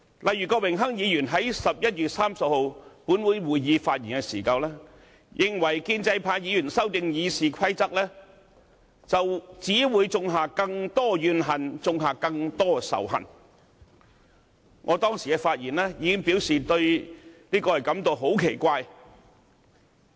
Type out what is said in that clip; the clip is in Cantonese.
例如郭榮鏗議員於11月30日本會會議席上發言時，認為建制派議員修訂《議事規則》，只會種下更多怨恨和仇恨，我當時已發言表示對此感到非常奇怪。